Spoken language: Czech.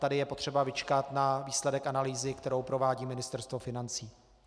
Tady je potřeba vyčkat na výsledek analýzy, kterou provádí Ministerstvo financí.